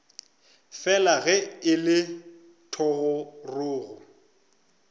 fela ge e le thogorogo